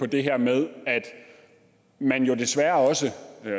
det her med at man jo desværre også